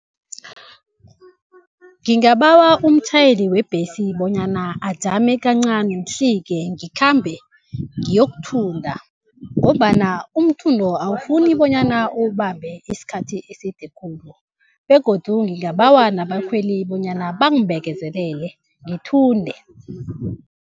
Ngingabawa umtjhayeli webhesi bonyana ajame kancani ngihlike ngikhambe ngiyokuthunda, ngombana umthundo awufuni bonyana uwubambe isikhathi eside khulu. Begodu ngingabawa nabakhweli bonyana bangibekezelele ngithunde.